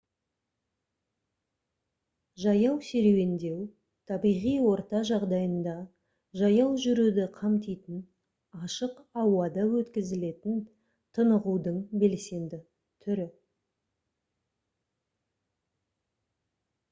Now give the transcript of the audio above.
жаяу серуендеу табиғи орта жағдайында жаяу жүруді қамтитын ашық ауада өткізілетін тынығудың белсенді түрі